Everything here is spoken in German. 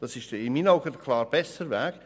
Das ist in meinen Augen der klar bessere Weg.